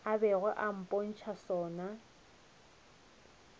a bego a mpotša sona